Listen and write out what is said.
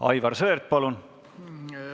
Aivar Sõerd, palun!